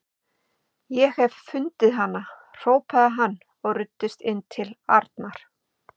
Ég hef fundið hana! hrópaði hann og ruddist inn til Arnar.